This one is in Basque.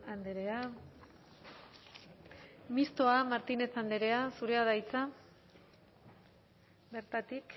andrea mistoa martínez andrea zurea da hitza bertatik